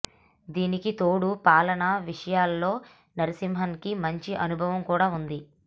దానికి తోడు పాలన విషయాల్లో నరసింహన్ కి మంచి అనుభవం కూడా ఉంది